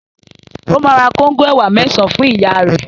Ó máa ra kóńgò ẹ̀wà mẹ́sàn-án fún ìyá rẹ̀.